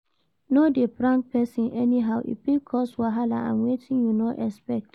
No de prank persin anyhow e fit cause wahala and wetin you no expect